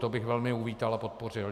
To byl velmi uvítal a podpořil.